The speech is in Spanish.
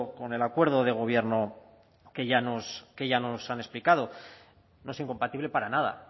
con el acuerdo de gobierno que ya nos han explicado no es incompatible para nada